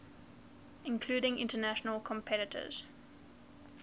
including international competitors